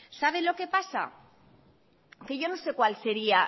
sabe lo que pasa que yo no sé cuál sería